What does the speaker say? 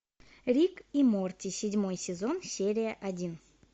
рик и морти седьмой сезон серия один